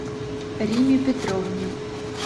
римме петровне